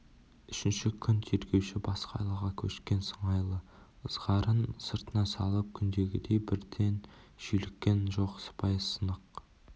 үшінші күн тергеуші басқа айлаға көшкен сыңайлы ызғарын сыртына салып күндегідей бірден шүйліккен жоқ сыпайы сынық